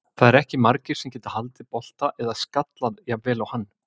Það eru ekki margir sem geta haldið bolta eða skallað jafn vel og hann.